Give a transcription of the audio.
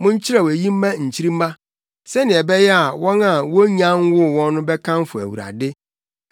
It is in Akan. Monkyerɛw eyi mma nkyirimma, sɛnea ɛbɛyɛ a wɔn a wonnya nwoo wɔn no bɛkamfo Awurade;